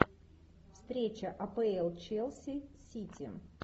встреча апл челси сити